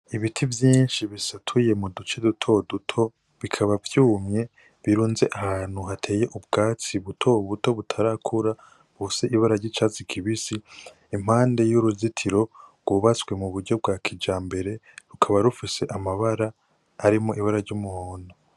Ibiti vyinshi bisatuye mu duce dutoduto bikaba birunze ahantu hateye ubwatsi buto buto butarakura bufise ibara ry'icatsi kibisi iruhande hari uruzitiro gwubats